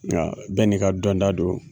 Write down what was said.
Nga bɛɛ n'i ka dɔnta don,